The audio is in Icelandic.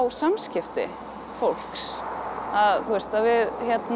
samskipti fólks að við